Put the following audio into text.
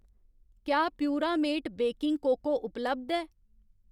क्या Puramate baking cocoa उपलब्ध ऐ ?